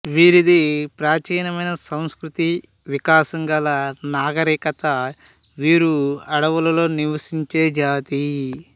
వీరిది ప్రాచీనమైన సంస్కృతీ వికాసం గల నాగరికత వీరు అడవులలో నివసించే జాతి